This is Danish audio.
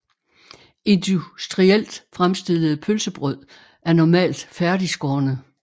Industrielt fremstillede pølsebrød er normalt færdigskårne